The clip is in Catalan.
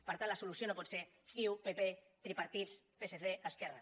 per tant la solució no pot ser ciu pp tripartits psc esquerra